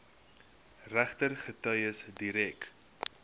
regter getuies direk